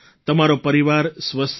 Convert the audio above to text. તમારો પરિવાર સ્વસ્થ રહે